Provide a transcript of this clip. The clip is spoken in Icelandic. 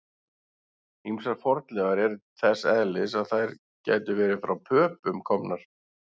Ýmsar fornleifar eru þess eðlis að þær gætu verið frá Pöpum komnar.